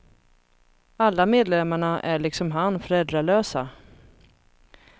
Alla medlemmarna är liksom han föräldralösa.